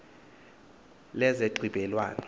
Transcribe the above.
lezenxibelwano